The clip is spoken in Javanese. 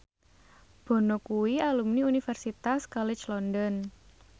Bono kuwi alumni Universitas College London